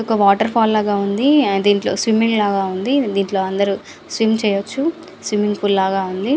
ఒక వాటర్ఫాల్ లాగా ఉంది. దీంట్లో అందరూ స్విమ్ చేయొచ్చు. స్విమ్మింగ్ పూల్ లాగా ఉంది.